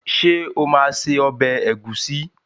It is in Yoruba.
Ṣé ó máa se ọbẹ̀ ẹ̀gúsí.